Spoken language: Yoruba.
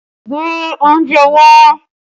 Gbé oúnjẹ wá!